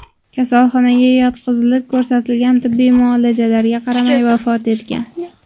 kasalxonaga yotqizilib, ko‘rsatilgan tibbiy muolajalarga qaramay vafot etgan.